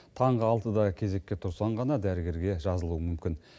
таңғы алтыда кезекке тұрсаң ғана дәрігерге жазылуың мүмкін